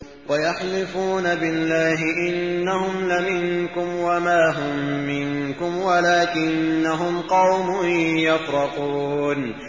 وَيَحْلِفُونَ بِاللَّهِ إِنَّهُمْ لَمِنكُمْ وَمَا هُم مِّنكُمْ وَلَٰكِنَّهُمْ قَوْمٌ يَفْرَقُونَ